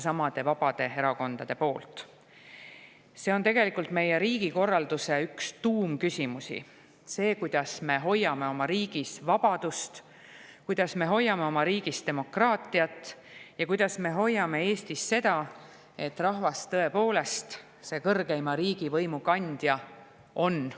See on tegelikult meie riigikorralduse üks tuumküsimusi – see, kuidas me hoiame oma riigis vabadust, kuidas me hoiame oma riigis demokraatiat ja kuidas me hoiame Eestis seda, et rahvas tõepoolest see kõrgeima riigivõimu kandja on.